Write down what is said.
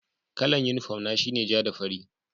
Kalla'n uniform na shine ja da farri.